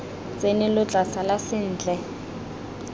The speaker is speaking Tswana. tsene lo tla sala sentle